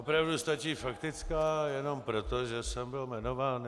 Opravdu stačí faktická jenom proto, že jsem byl jmenován.